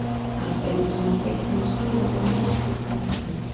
Aðferðina sem hann beitti má skýra með meðfylgjandi mynd.